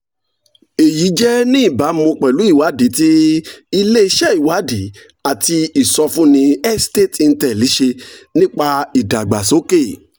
èyí jẹ́ ní ìbámu pẹ̀lú ìwádìí tí ilé-iṣẹ́ ìwádìí àti ìsọfúnni estate intel [c]s ṣe nípa ìdàgbàsókè